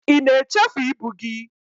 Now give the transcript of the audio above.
ị na echefu ibu gị?